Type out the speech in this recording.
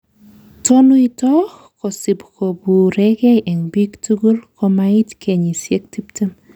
Tonuito kosib koburekei en bik tukul komait kenyisiek tiptem